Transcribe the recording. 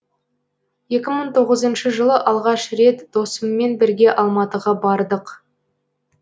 екі мың тоғызыншы жылы алғаш рет досыммен бірге алматыға бардық